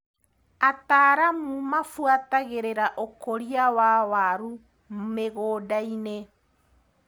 Ataramu mabuatagĩrĩra ũkũria wa waru mĩgũndainĩ.